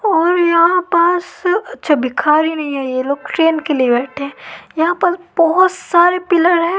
और यहां पास अच्छा भिखारी नहीं है ये लोग ट्रेन के लिए बैठे हैं यहां पर बहुत सारे पिलर है।